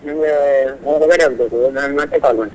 ನಂಗೆ ಹೊರಗಡೆ ಹೋಗ್ಬೇಕು ನಾನ್ ಮತ್ತೆ call ಮಾಡ್ತೇನೆ.